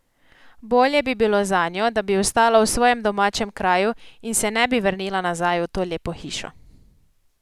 Bolje bi bilo zanjo, da bi ostala v svojem domačem kraju in se ne bi vrnila nazaj v to lepo hišo.